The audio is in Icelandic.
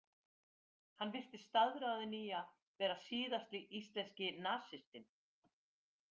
Hann virtist staðráðinn í að verða síðasti íslenski nasistinn.